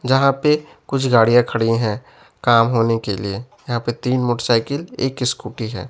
जहां पे कुछ गाड़ियां खड़ी है काम होने के लिए यहां पे तीन मोटरसाइकिल एक स्कूटी है।